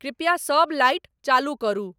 कृपया सब लाइट चालू करु